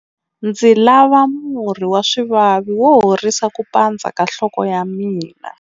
Ndzi lava murhi wa swivavi wo horisa ku pandza ka nhloko ya mina.